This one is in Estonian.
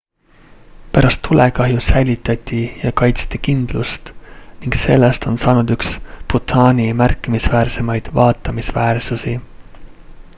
pärast tulekahju säilitati ja kaitsti kindlust ning sellest on saanud üks bhutani märkimisväärsemaid vaatamisväärsuseid